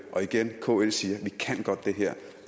og igen kl siger